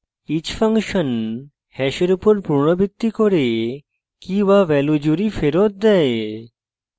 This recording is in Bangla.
each ফাংশন hash উপর পুনরাবৃত্তি করে key/value জুড়ি ফেরত দেয়